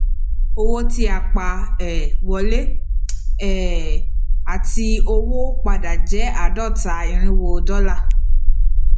owó tí a pa um wọlé um àti owó padà jẹ àádóta irínwó dọlà